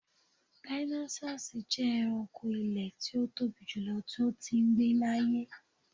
Dinosaurs jẹ ẹranko ilẹ ti o tobi julọ ti o tii gbe laaye